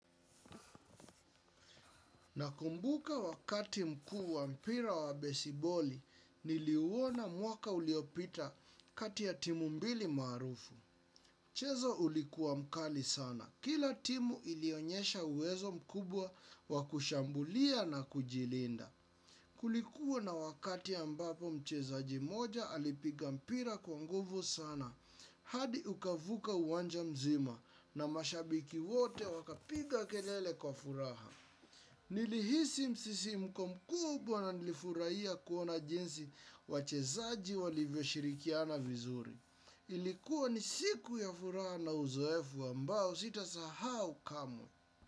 Nakumbuka wakati mkuu wa mpira wa besiboli niliuona mwaka uliopita kati ya timu mbili marufu. Mchezo ulikuwa mkali sana. Kila timu ilionyesha uwezo mkubwa wa kushambulia na kujilinda. Kulikuwa na wakati ambapo mchezaji moja alipiga mpira kwa nguvu sana. Hadi ukavuka uwanja mzima na mashabiki wote wakapiga kelele kwa furaha. Nili hisi msisimko mkubwa na nilifurahia kuona jinsi wachezaji walivyo shirikiana vizuri. Ilikuwa ni siku ya furaha na uzoefu ambao sita sahau kamwe.